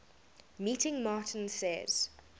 meeting martin says